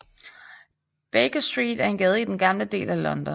Baker Street er en gade i den gamle del af London